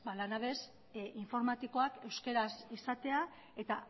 lanabes informatikoak euskaraz izatea eta